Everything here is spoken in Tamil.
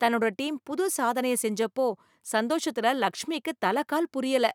தன்னோட டீம் புது சாதனையை செஞ்சப்போ சந்தோஷத்துல லக்ஷ்மிக்கு தலைகால் புரியல.